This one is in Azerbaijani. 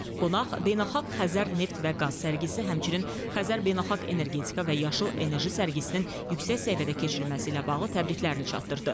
Qonaq Beynəlxalq Xəzər Neft və Qaz sərgisi, həmçinin Xəzər Beynəlxalq Energetika və Yaşıl Enerji sərgisinin yüksək səviyyədə keçirilməsi ilə bağlı təbriklərini çatdırdı.